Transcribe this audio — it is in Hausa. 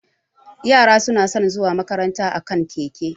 Yara suna san zuwa makaranta a kan keke